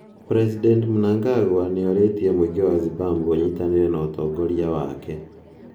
President Mnangagwa nioritie muingi wa Zimbabwe unyitanire na utongoria wake.